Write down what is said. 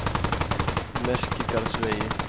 Merkigarðsvegi